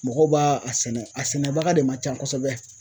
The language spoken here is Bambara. Mɔgɔw ba a sɛnɛ a sɛnɛbaga de man can kosɛbɛ.